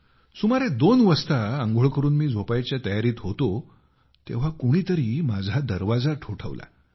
सुमारे दोन वाजता आंघोळ करून मी झोपायच्या तयारीत होतो तेव्हा कोणी तरी माझा दरवाजा ठोठावला